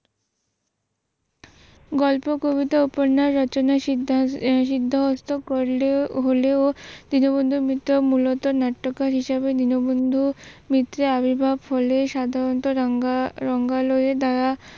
গল্প কবিতা উপন্যাস রচনা সিদ্ধাহস্ত করলে হল দীনবন্ধুর মিত্র মূলত নাট্যকার হিসেবে দীনবন্ধুর মিত্রার আবির্ভাব হলে সাধারণত রাঙ্গালো দ্বারা